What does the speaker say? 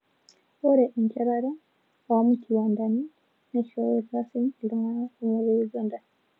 Ore enchetare oo mkiwandani neisho irkasin iltung'ana kumok le Uganda